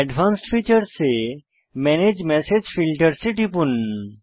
advanced features এ manage message filters এ টিপুন